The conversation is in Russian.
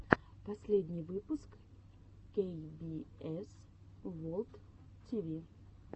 последний выпуск кей би эс ворлд ти ви